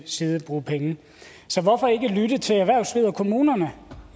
side bruge penge så hvorfor ikke lytte til erhvervslivet og kommunerne